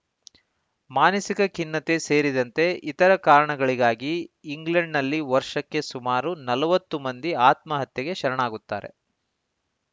ಮಾನಸಿಕ ಖಿನ್ನತೆ ಸೇರಿದಂತೆ ಇತರ ಕಾರಣಗಳಿಗಾಗಿ ಇಂಗ್ಲೆಂಡ್‌ನಲ್ಲಿ ವರ್ಷಕ್ಕೆ ಸುಮಾರು ನಲವತ್ತು ಮಂದಿ ಆತ್ಮಹತ್ಯೆಗೆ ಶರಣಾಗುತ್ತಾರೆ